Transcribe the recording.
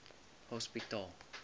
hospitaal